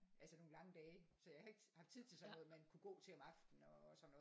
Altså nogle lange dage så jeg har ikke haft tid til sådan noget man kunne gå til om aftenen og sådan noget